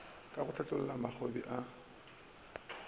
ka go hlabolla mabokgoni a